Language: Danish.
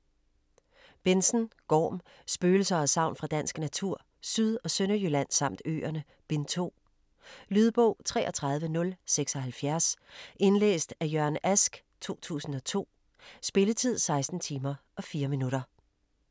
Benzon, Gorm: Spøgelser og sagn fra dansk natur: Syd- og Sønderjylland samt øerne: Bind 2 Lydbog 33076 Indlæst af Jørgen Ask, 2002. Spilletid: 16 timer, 4 minutter.